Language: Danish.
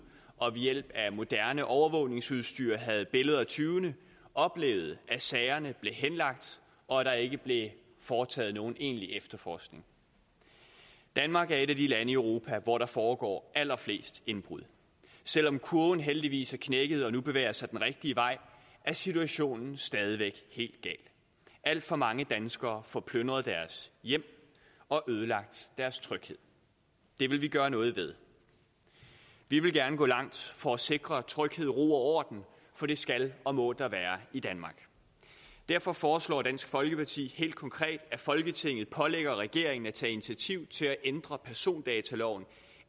og ved hjælp af moderne overvågningsudstyr havde billeder af tyvene oplevede at sagerne blev henlagt og at der ikke blev foretaget nogen egentlig efterforskning danmark er et af de lande i europa hvor der foregår allerfleste indbrud selv om kurven heldigvis er knækket og nu bevæger sig den rigtige vej er situationen stadig væk helt gal alt for mange danskere får plyndret deres hjem og ødelagt deres tryghed det vil vi gøre noget ved vi vil gerne gå langt for at sikre tryghed ro og orden for det skal og må der være i danmark derfor foreslår dansk folkeparti helt konkret at folketinget pålægger regeringen at tage initiativ til at ændre persondataloven